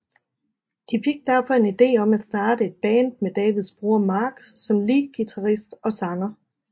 De fik derfor en ide om at starte et Band med Davids bror Mark som leadguitarist og sanger